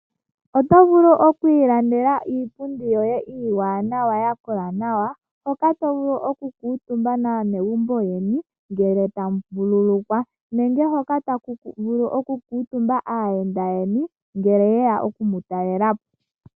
Oto vulu oku ilandela iipundi yoye iiwanawa ya kola nawa hoka to vulu okukuutumba naanegumbo lyoye ngele tamu vululukwa nenge hoka taku vulu okukuutumba aayenda yeni ngele yeya okumu talela po.